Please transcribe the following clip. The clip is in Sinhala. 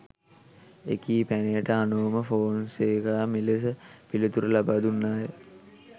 එකී පැනයට අනෝමා ෆෝනසේකා මෙලෙස පිළිතුරු ලබාදුන්නාය